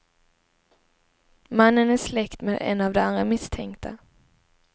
Mannen är släkt med en av de andra misstänkta.